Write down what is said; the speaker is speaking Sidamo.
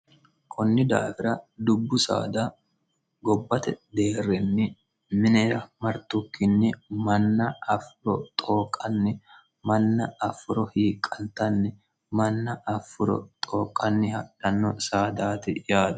kunni daawira dubbu saada gobbate deerrinni minera martukkinni manna affiro xooqqanni manna affuro hiiqantanni manna affuro xooqqanni hadhanno saadaati yaato